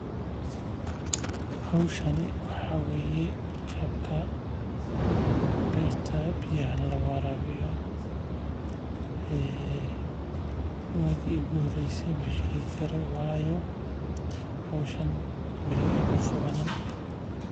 Howshan waxaa waye qaabka beerta biyaha loo warabiyo masheegi karo waayo howshan wwaligeey maqabanin.